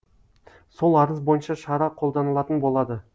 сол арыз бойынша шара қолданылатын болады